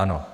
Ano.